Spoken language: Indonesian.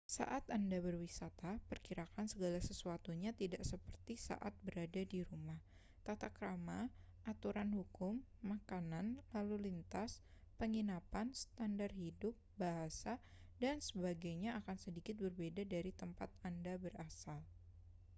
saat anda berwisata perkirakan segala sesuatunya tidak seperti saat berada di rumah tata krama aturan hukum makanan lalu lintas penginapan standar hidup bahasa dan sebagainya akan sedikit berbeda dari tempat anda berasal